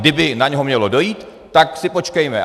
Kdyby na něho mělo dojít, tak si počkejme.